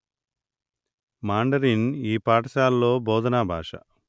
Mandarin ఈ పాఠశాల భోధనా భాష